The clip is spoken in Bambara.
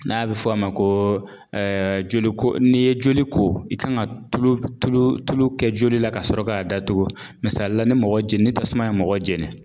N'a bɛ fɔ a ma ko joliko n'i ye joli ko i kan ŋa tulu tuluu tulu kɛ joli la kasɔrɔ k'a datugu misali la ni mɔgɔ je ni tasuma ye mɔgɔ jeni